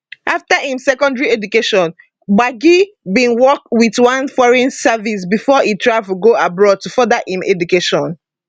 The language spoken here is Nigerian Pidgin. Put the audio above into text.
after im secondary education gbagi bin work wit one foreign service bifor e travel go abroad to further im education